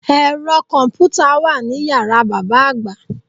Ẹ̀rọ kọ̀mpùtà wà ní yàrá bàbá àgbà